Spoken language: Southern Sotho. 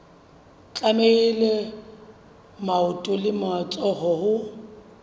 tlamehile maoto le matsoho ho